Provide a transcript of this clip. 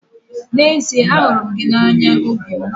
N'ezie ahụrụ m gị n'anya obi m.